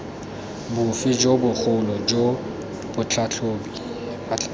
bofe jo bogolo jo batlhatlhobi